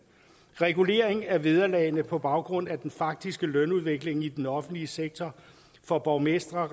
regulering af vederlagene på baggrund af den faktiske lønudvikling i den offentlige sektor for borgmestre